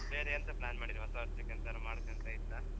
ಮತ್ತೆ ಬೇರೆ ಎಂಥ plan ಮಾಡಿದ್ರಿ ಹೊಸ ವರ್ಷಕ್ಕೆ ಎಂತಾದ್ರೂ ಮಾಡುಕ್ ಅಂತ ಇತ್ತಾ.